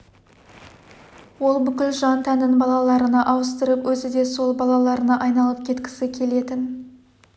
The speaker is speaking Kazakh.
ол бүкіл жан-тәнін балаларына ауыстырып өзі де сол балаларына айналып кеткісі келетін